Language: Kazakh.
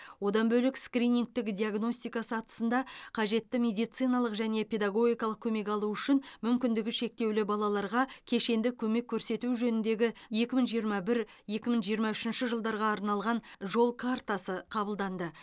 одан бөлек скринингтік диагностика сатысында қажетті медициналық және педагогикалық көмек алу үшін мүмкіндігі шектеулі балаларға кешенді көмек көрсету жөніндегі екі мың жиырма бір екі мың жиырма үшінші жылдарға арналған жол картасы қабылданды